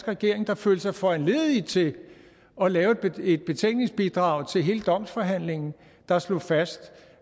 regering der følte sig foranlediget til at lave et betænkningsbidrag til hele domsforhandlingen der slog fast